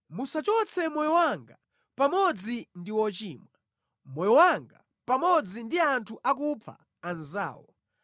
Musachotse moyo wanga pamodzi ndi ochimwa, moyo wanga pamodzi ndi anthu akupha anzawo,